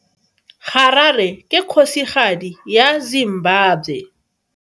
Harare ke kgosigadi ya Zimbabwe.